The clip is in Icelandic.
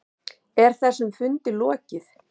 Er þessum fundi lokið?